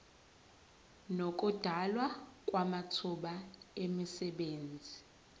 nokudalwa kwamathuba emisebenzi